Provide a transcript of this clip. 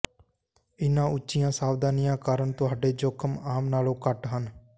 ਇਨ੍ਹਾਂ ਉੱਚੀਆਂ ਸਾਵਧਾਨੀ ਕਾਰਨ ਤੁਹਾਡੇ ਜੋਖਮ ਆਮ ਨਾਲੋਂ ਘੱਟ ਹਨ